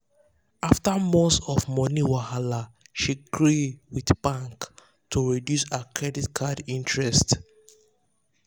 after months of money wahala she gree with bank to reduce her credit card interest.